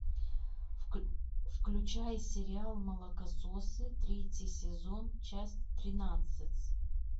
включай сериал молокососы третий сезон часть тринадцать